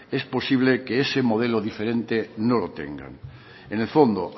es posible que ese modelo diferente no lo tengan en el fondo